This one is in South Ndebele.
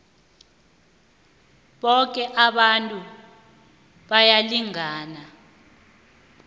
boke abantu bayalingana